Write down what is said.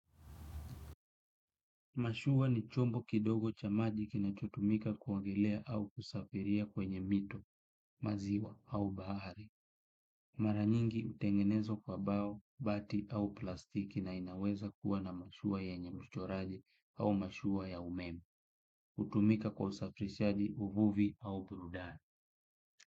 Mashua ni chombo kidogo cha maji kinachotumika kuongelea au kusafiria kwenye mito, maziwa au bahari. Mara nyingi hutengenezwa kwa mbao, bati au plastiki na inaweza kuwa na mashua yenye uchoraji au mashua ya umeme. Hutumika kwa usafirishaji, uvuvi, au burudani.